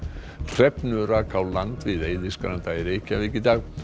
hrefnu rak á land við Eiðisgranda í Reykjavík í dag